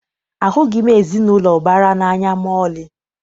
Ahụghị m ezinaụlọ ụbara n'anya maọlị.